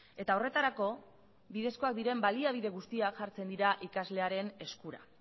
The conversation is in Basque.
eta horretarako bidezkoak diren baliabide guztiak jartzen dira ikaslearen eskura